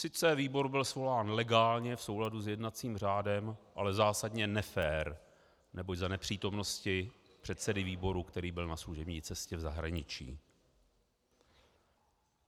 Sice výbor byl svolán legálně v souladu s jednacím řádem, ale zásadně nefér, neboť za nepřítomnosti předsedy výboru, který byl na služební cestě v zahraničí.